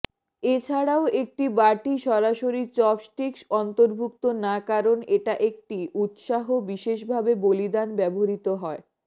এছাড়াও একটি বাটি সরাসরি চপস্টিক্স অন্তর্ভুক্ত না কারণ এটা একটি উত্সাহ বিশেষভাবে বলিদান ব্যবহৃত হয়